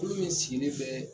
Kulu min sigi len bɛɛ